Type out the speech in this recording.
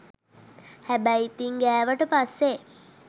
හැබැයි ඉතින් ගෑවට පස්සේ